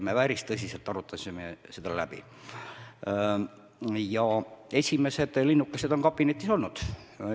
Me arutasime seda päris tõsiselt ja esimesed linnukesed on juba kabinetis olnud.